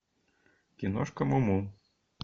киношка му му